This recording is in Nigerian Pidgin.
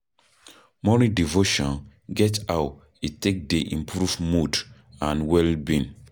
Morning devotion get how e take dey improve mood and well being